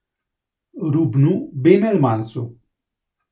Rubnu Bemelmansu.